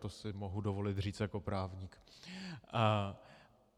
To si mohu dovolit říct jako právník.